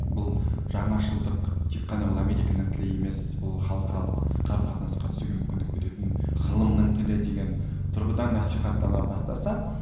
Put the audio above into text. бұл жаңашылдық тек қана бұл американың тілі емес бұл халықаралық қарым қатынасқа түсуге мүмкіндік беретін ғылымның тілі деген тұрғыдан насихаттала бастаса